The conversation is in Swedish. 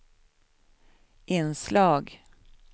inslag